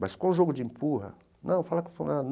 Mas com o jogo de empurra... Não, fala com o fulano.